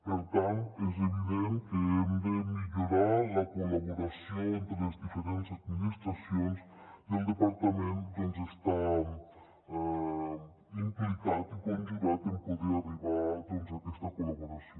per tant és evident que hem de millorar la col·laboració entre les diferents administracions i el departament està implicat i conjurat en poder arribar a aquesta col·laboració